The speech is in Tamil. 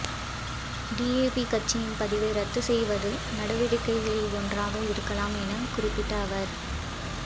டிஏபி கட்சியின் பதிவை ரத்துச் செய்வது நடவடிக்கைகளில் ஒன்றாக இருக்கலாம் எனக் குறிப்பிட்ட அவர்